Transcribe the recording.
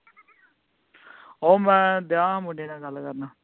ਓ ਮੈਂ ਡੇਆਂ ਮੁੰਡੇ ਨਾਲ ਗਲ ਕਰਨ